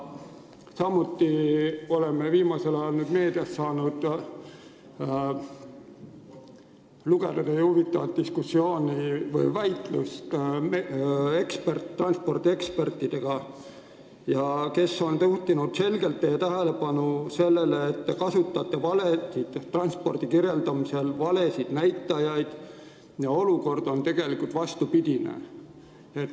Samuti oleme viimasel ajal meediast saanud lugeda teie huvitavat väitlust transpordiekspertidega, kes on juhtinud teie tähelepanu sellele, et te kasutate transpordi olukorra kirjeldamisel valesid näitajaid ja olukord on tegelikult vastupidine.